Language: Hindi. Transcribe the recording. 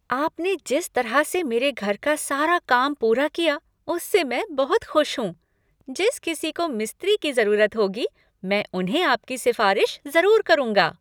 आपने जिस तरह से मेरे घर का सारा काम पूरा किया, उससे मैं बहुत खुश हूँ। जिस किसी को मिस्त्री की जरूरत होगी मैं उन्हें आपकी सिफारिश ज़रूर करूँगा।